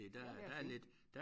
Ja det er fint